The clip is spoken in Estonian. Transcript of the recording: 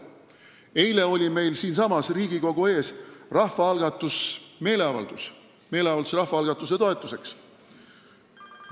Eile oli meil siinsamas Riigikogu ees meeleavaldus rahvaalgatuse toetuseks.